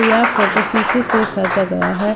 यह फोटो शीशे से खैचा गया है।